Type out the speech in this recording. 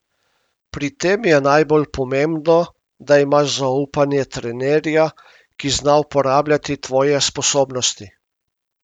Pri tem je najbolj pomembno, da imaš zaupanje trenerja, ki zna uporabljati tvoje sposobnosti.